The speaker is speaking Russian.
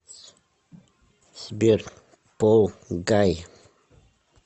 сбер пол гай